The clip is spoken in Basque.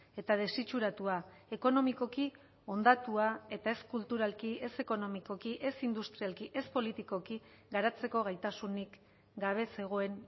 eta desitxuratua ekonomikoki hondatua eta ez kulturalki ez ekonomikoki ez industrialki ez politikoki garatzeko gaitasunik gabe zegoen